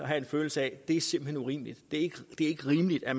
have en følelse af at det simpelt urimeligt det er ikke rimeligt at